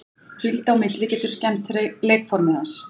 Hvíld á milli getur skemmt leikformið hans.